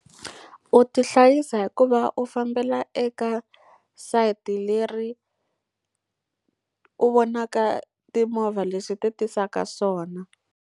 U tihlayisa hi ku va u fambela eka sayiti leri u vonaka timovha leswi ti tisaka swona.